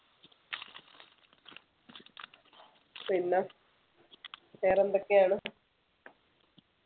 പിന്നെ വേറെ എന്തൊക്കെയാണ്